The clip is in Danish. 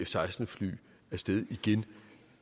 seksten fly af sted igen